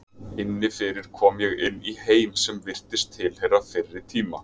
Inni fyrir kom ég inn í heim sem virtist tilheyra fyrri tíma.